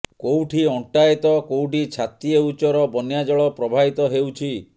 କୋଉଠି ଅଣ୍ଟାଏ ତ କୋଉଠି ଛାତିଏ ଉଚ୍ଚର ବନ୍ୟା ଜଳ ପ୍ରବାହିତ ହେଉଛି